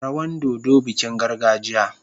Rawan dodo bikin gargajiya.